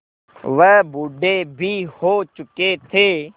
वह बूढ़े भी हो चुके थे